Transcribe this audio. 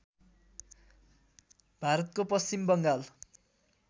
भारतको पश्चिम बङ्गाल